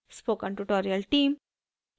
spoken tutorial team: